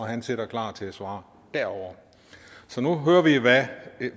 han sidder klar til at svare derovre så nu hører vi